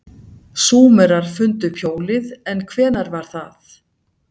Súmerar fundu upp hjólið en hvenær var það?